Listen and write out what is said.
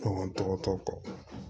Kɔnɔntɔ tɔ kɔ